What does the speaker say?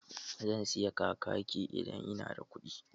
Zan sayi kakaki idan ina da kuɗi.